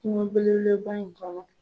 Kungo bele bele ba in kɔnɔ.